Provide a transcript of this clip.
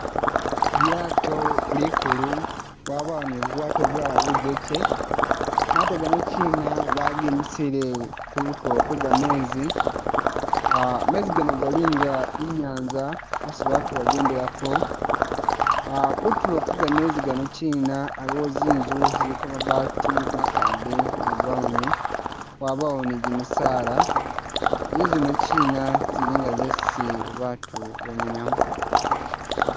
Lwato likulu bwabawo ni bubwato bulala bujeke mato ganokyina bagimisile kutulo kwega’mezi ,mezi gano galinga inyanza yesi batu bajendelako ,kutulo kwe gamezi gano’kyina aliwo zinzu ziliko mabati makade ga brown ,wabawo ni jimisala zinzu zino’kyina zili nga zesi batu bamenyamu .